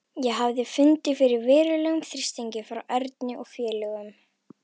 Ég hafði fundið fyrir verulegum þrýstingi frá Erni og félögum.